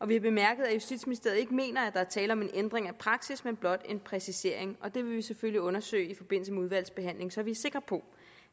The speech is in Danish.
vi bemærkede at justitsministeriet ikke mener at der er tale om en ændring af praksis men om blot en præcisering og det vil vi selvfølgelig undersøge i forbindelse med udvalgsbehandlingen så vi er sikre på